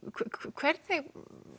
hvernig